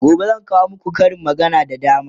gobe zan kawo maku Karin magana da dama